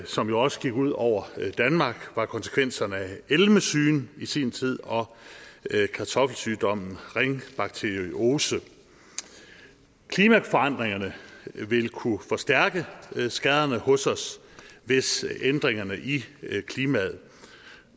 som jo også gik ud over danmark var konsekvenserne af elmesygen i sin tid og kartoffelsygdommen ringbakteriose klimaforandringerne vil kunne forstærke skaderne hos os hvis ændringerne i klimaet